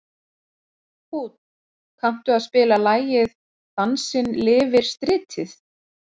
Húnn, kanntu að spila lagið „Dansinn lifir stritið“?